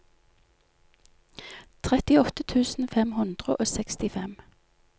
trettiåtte tusen fem hundre og sekstifem